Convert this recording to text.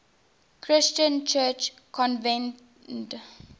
christian church convened